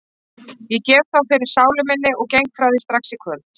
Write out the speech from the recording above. Ég gef þá fyrir sálu minni og geng frá því strax í kvöld.